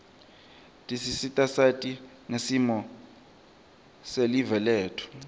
tisita sati ngesimo selive letfu